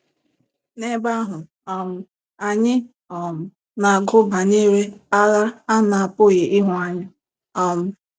N'ebe ahụ, um anyị um na-agụ banyere agha a na-apụghị ịhụ anya. um